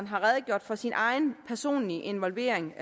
har redegjort for sin egen personlige involvering